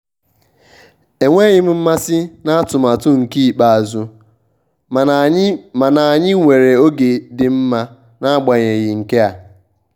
enweghị m mmasị n'atụmatụ nke ikpeazụ mana anyị mana anyị nwere oge dị mma n'agbanyeghị nkea